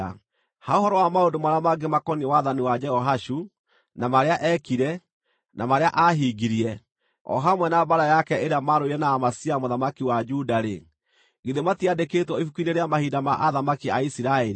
Ha ũhoro wa maũndũ marĩa mangĩ makoniĩ wathani wa Jehoashu, na marĩa eekire, na marĩa aahingirie, o hamwe na mbaara yake ĩrĩa maarũire na Amazia mũthamaki wa Juda-rĩ, githĩ matiandĩkĩtwo ibuku-inĩ rĩa mahinda ma athamaki a Isiraeli?